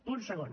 punt segon